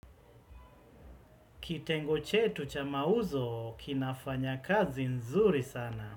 Kitengo chetu cha mauzo kinafanya kazi nzuri sana.